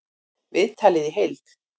Viðtalið í heild